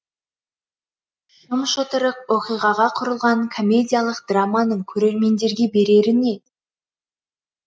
шым шытырық оқиғаға құрылған комедиялық драманың көрермендерге берері не